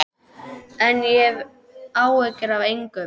En ég hef áhyggjur af engum.